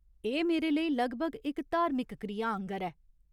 एह् मेरे लेई लगभग इक धार्मिक क्रिया आङर ऐ।